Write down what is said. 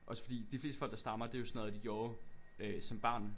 Også fordi de fleste folk der stammer det var sådan noget de gjorde øh som barn